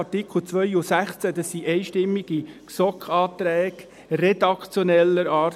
Die Artikel 2 und 16 waren einstimmige GSoK-Anträge redaktioneller Art.